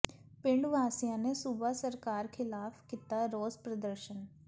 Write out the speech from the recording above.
ਪਿੰਡ ਵਾਸੀਆਂ ਨੇ ਸੂਬਾ ਸਰਕਾਰ ਖ਼ਿਲਾਫ਼ ਕੀਤਾ ਰੋਸ ਪ੍ਰਦਰਸ਼ਨ